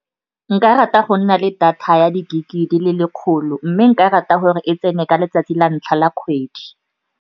Nka rata go nna le data ya di-gig-e di le lekgolo, mme nka rata gore e tsene ka letsatsi la ntlha la kgwedi.